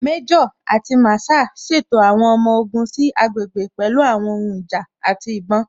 Méjò àti Masaa ṣètò àwọn ọmọ ogun sí àgbègbè pẹ̀lú àwọn ohun ìjà àti ìbọn.